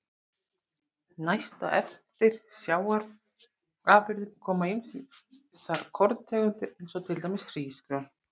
Næst á eftir sjávarafurðum koma ýmsar korntegundir eins og til dæmis hrísgrjón.